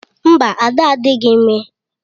Mba, Ada adịghị ime.